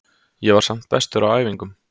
Ég var samt bestur á æfingum.